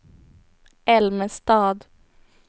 Älmestad